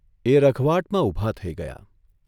એ રઘવાટમાં ઊભા થઇ ગયા.